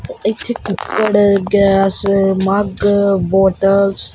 ਇੱਥੇ cooker gas mug bottles --